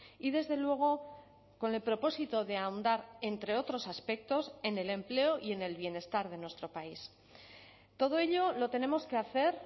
y desde luego con el propósito de ahondar entre otros aspectos en el empleo y en el bienestar de nuestro país todo ello lo tenemos que hacer